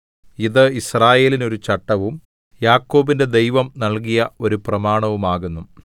ഇത് യിസ്രായേലിന് ഒരു ചട്ടവും യാക്കോബിന്റെ ദൈവം നൽകിയ ഒരു പ്രമാണവും ആകുന്നു